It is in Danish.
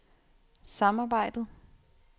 samarbejdet